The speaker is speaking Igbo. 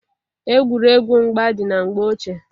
Egwuregwu mgba dị na mgbe ochie.